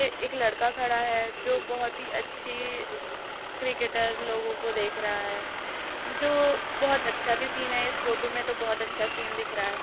ये एक लड़का खड़ा है जो बहोत ही अच्छी क्रिकेटर लोगों को देख रहा है | जो बहुत अच्छा भी सीन है इस फोटो में तो बहोत अच्छा सीन दिख रहा है।